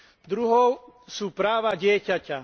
Druhou sú práva dieťaťa.